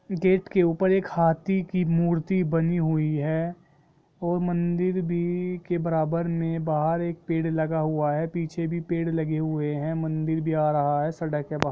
gate के ऊपर एक हाथी की मूर्ति बनी हुई है और मंदिर भी के बराबर में बाहर एक पेड़ लगा हुआ है पीछे भी पेड़ लगे हुए है मन्दिर भी आ रहा है सड़क है वहा --